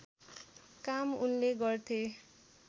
काम उनले गर्थे